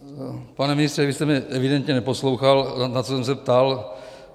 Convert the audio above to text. Pane ministře, vy jste mě evidentně neposlouchal, na co jsem se ptal.